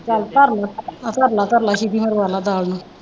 ਚੱਲ ਧਰ ਲੈ ਧਰ ਲੈ ਸਿਟੀ ਮਰਵਾ ਲੈ ਦਾਲ ਨੂੰ।